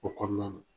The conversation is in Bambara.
O kɔnɔna na